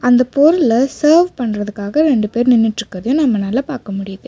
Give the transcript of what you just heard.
இந்த போல்ல சர்வ் பண்றுத்துக்காக ரெண்டு பேர் நிண்ணுட்டுறுக்கறத நம்மனால பாக்க முடியுது.